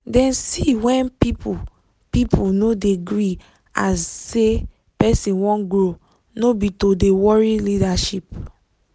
dem see wen people people no de gree as say person wan grow no be to de worry leadership